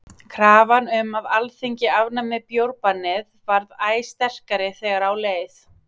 Krafan um að Alþingi afnæmi bjórbannið varð æ sterkari þegar á leið.